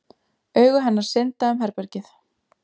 Augu hennar synda um herbergið.